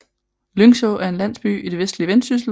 Lyngså er en landsby i det østlige Vendsyssel med